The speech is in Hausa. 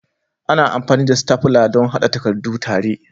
Ana amfani da stafla don haɗa takardu tare.